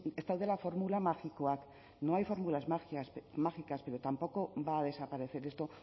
ez daudela formula magikoak no hay fórmulas mágicas pero tampoco va a desaparecer esto